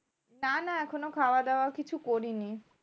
না না এখনো খাওয়াদাওয়া কিছু করিনি।